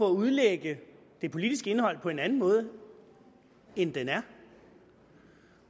at udlægge det politiske indhold på en anden måde end det er